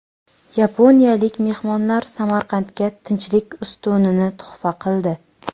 Yaponiyalik mehmonlar Samarqandga Tinchlik ustunini tuhfa qildi.